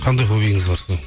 қандай хоббиіңіз бар сіздің